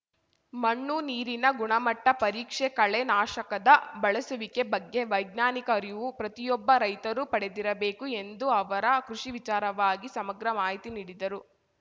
ಮಣ್ಣು ನೀರಿನ ಗುಣಮಟ್ಟಪರೀಕ್ಷೆ ಕಳೆ ನಾಶಕದ ಬಳಸುವಿಕೆ ಬಗ್ಗೆ ವೈಜ್ಞಾನಿಕ ಅರಿವು ಪ್ರತಿಯೊಬ್ಬ ರೈತರು ಪಡೆದಿರಬೇಕು ಎಂದ ಅವರ ಕೃಷಿ ವಿಚಾರವಾಗಿ ಸಮಗ್ರ ಮಾಹಿತಿ ನೀಡಿದರು